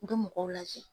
U bɛ mɔgɔw lajɛ